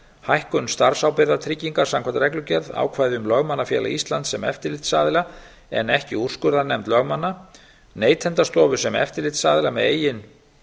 hækkun starfsábyrgðartrygginga samkvæmt reglugerð ákvæði um lögmannafélags íslands sem eftirlitsaðila en ekki úrskurðarnefnd lögmanna neytendastofu sem eftirlitsaðila með eigin